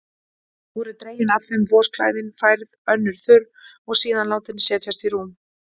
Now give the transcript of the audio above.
Voru dregin af þeim vosklæðin, færð önnur þurr og síðan látin setjast í rúm.